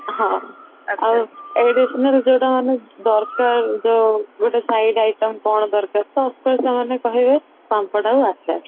ହଁ additional ଯୋଉଟା ମାନେ ଦରକାର ଯୋଉ ଗୋଟେ side item କଣ ଦରକାର first ତ ସେମାମେ କହିବେ ପାମ୍ପଡ ଆଉ ଆଚାର